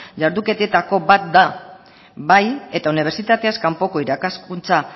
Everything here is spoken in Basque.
jarduketetako bat da bai eta unibertsitateaz kanpoko irakaskuntza